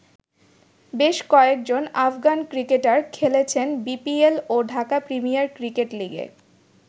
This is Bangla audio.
বেশ কয়েকজন আফগান ক্রিকেটার খেলেছেন বিপিএল ও ঢাকা প্রিমিয়ার ক্রিকেট লিগে।